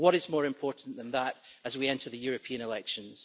What is more important than that as we enter the European elections?